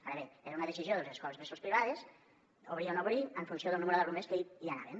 ara bé era una decisió de les escoles bressol privades obrir o no obrir en funció del nombre d’alumnes que hi anaven